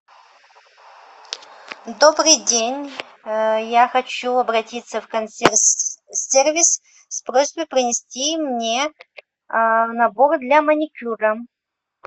добрый день я хочу обратиться в консьерж сервис с просьбой принести мне набор для маникюра